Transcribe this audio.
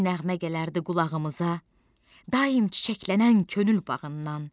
Min nəğmə gələrdi qulağımıza, daim çiçəklənən könül bağından.